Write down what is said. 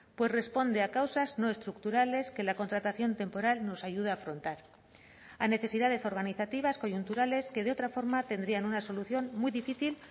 pues responde a causas no estructurales que la contratación temporal nos ayuda a afrontar a necesidades organizativas coyunturales que de otra forma tendrían una solución muy difícil